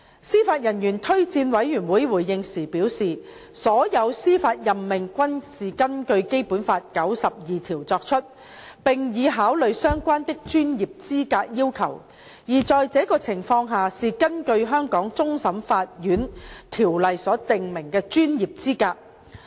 司法人員推薦委員會回應時表示，所有司法任命均是根據《基本法》第九十二條作出，並已考慮相關的專業資格要求，而在這種情況下是根據《香港終審法院條例》所訂明的專業資格。